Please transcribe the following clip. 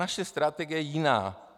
Naše strategie je jiná.